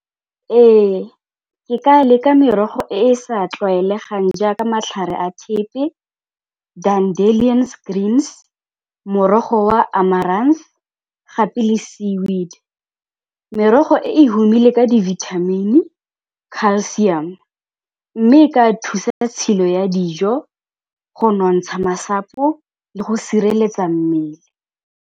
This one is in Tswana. Ee, ke ka leka merogo e e sa tlwaelegang jaaka matlhare a thepe, , morogo wa gape le sea weed, merogo e e humile ka dibithamini, calcium mme ka thusa tshilo ya dijo, go nontsha masapo le go sireletsa mmele.